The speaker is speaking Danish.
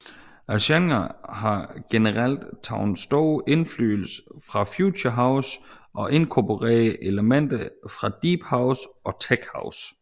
Genren har generelt taget stor indflydelse fra future house og inkorporerer elementer fra deephouse og techhouse